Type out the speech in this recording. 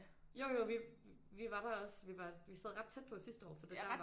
Jo jo vi vi var der også vi var vi sad ret tæt på sidste år for der var der